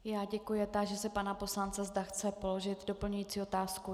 Já děkuji a táži se pana poslance, zda chce položit doplňující otázku.